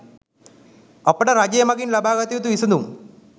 අපට රජය මගින් ලබාගත යුතු විසඳුම්